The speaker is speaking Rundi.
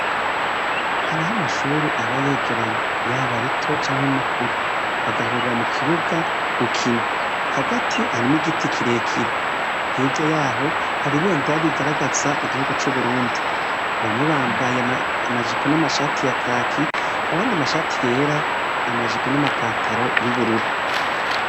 Haraho amashure aba yegeranye yaba rito canke rikuru, bagahurira mu kibuga gukina. Hagati harimwo igiti kirekire. Hirya yaho hari ibendera rigaragaza igihugu c'Uburundi. Bamwe bambaye amashati n'amajipo ya kaki, abandi amashati yera n'amapataro y'ubururu.